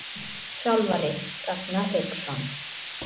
Þjálfari: Ragnar Hauksson.